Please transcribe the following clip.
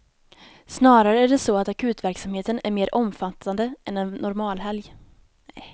Snarare är det så att akutverksamheten är mer omfattande än en normal helg.